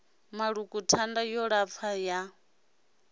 maṱuku thanda yo lapfa ya